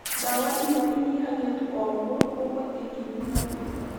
Ndawa imwe inyihagia tu o ruo, gũkũ ingĩ ikĩnyihia kũimba